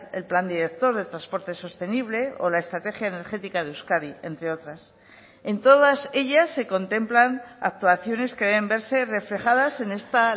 el plan director de transporte sostenible o la estrategia energética de euskadi entre otras en todas ellas se contemplan actuaciones que deben verse reflejadas en esta